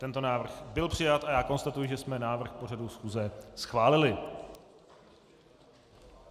Tento návrh byl přijat a já konstatuji, že jsme návrh pořadu schůze schválili.